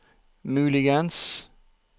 muligens